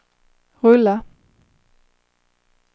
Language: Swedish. rulla